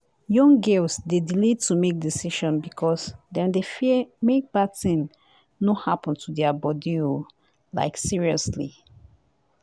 young girls dey delay to make decision because dem dey fear make bad thing no happen to their body o like seriouly.